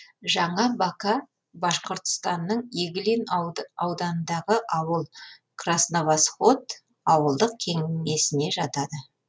жаңа бака башқұртстанның иглин ауданындағы ауыл красновосход ауылдық кеңесіне жатады